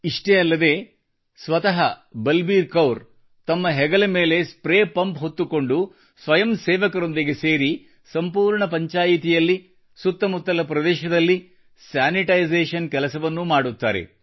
ಇಷ್ಟೇ ಅಲ್ಲದೆ ಸ್ವತಃ ಬಲಬೀರ್ ಕೌರ್ ಅವರು ತಮ್ಮ ಹೆಗಲ ಮೇಲೆ ಸ್ಪ್ರೇ ಪಂಪ್ ಹೊತ್ತುಕೊಂಡು ಸ್ವಯಂ ಸೇವಕರೊಂದಿಗೆ ಸೇರಿ ಸಂಪೂರ್ಣ ಪಂಚಾಯ್ತಿಯಲ್ಲಿ ಸುತ್ತ ಮುತ್ತಲ ಪ್ರದೇಶದಲ್ಲಿ ಸ್ಯಾನಿಟೈಸೇಶನ್ ಕೆಲಸವನ್ನೂ ಮಾಡುತ್ತಾರೆ